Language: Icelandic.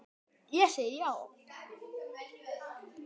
Ég segi já!